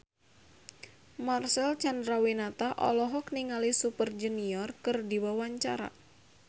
Marcel Chandrawinata olohok ningali Super Junior keur diwawancara